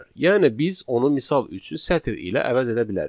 Yəni biz onu misal üçün sətr ilə əvəz edə bilərik.